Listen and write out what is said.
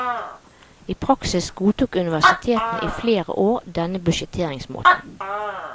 I praksis godtok universitetene i flere år denne budsjetteringsmåten.